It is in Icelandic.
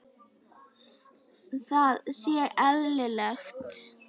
Það sé eðlilegt.